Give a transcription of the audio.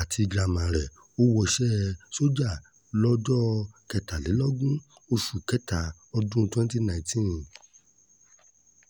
àti girama rẹ̀ ò wọṣẹ́ sójà lọ́jọ́ kẹtàlélógún oṣù kẹta ọdún 2019